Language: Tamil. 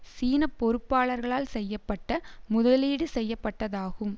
சீன பொறுப்பாளர்களால் செய்ய பட்ட முதலீடு செய்ய பட்டதாகும்